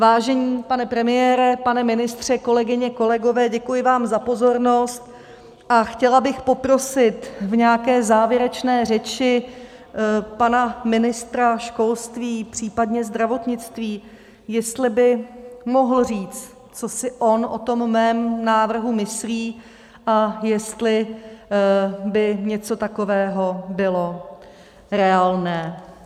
Vážený pane premiére, pane ministře, kolegyně, kolegové, děkuji vám za pozornost a chtěla bych poprosit v nějaké závěrečné řeči pana ministra školství, případně zdravotnictví, jestli by mohl říct, co si on o tom mém návrhu myslí a jestli by něco takového bylo reálné.